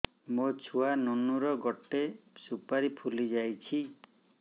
ମୋ ଛୁଆ ନୁନୁ ର ଗଟେ ସୁପାରୀ ଫୁଲି ଯାଇଛି